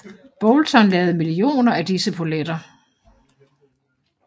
Boulton lavede millioner af disse poletter